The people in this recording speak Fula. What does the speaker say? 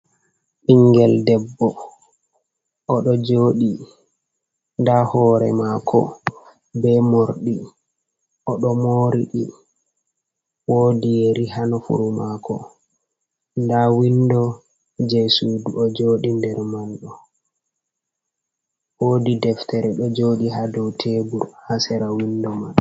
Bingel debbo o ɗo joɗi, nda hore mako be morɗi, o ɗo moriɗi, wodi yeri ha nofuru mako, nda windo je sudu o joɗi nder manɗo, woodi deftere ɗo joɗi ha dow tebur ha sera windo man.